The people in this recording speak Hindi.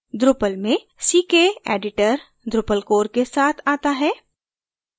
drupal में ckeditor drupal core के साथ आता है